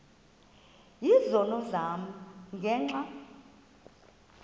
izono zam ngenxa